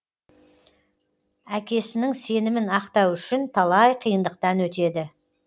әкесіңін сенімін ақтау үшін талай қиындықтан өтеді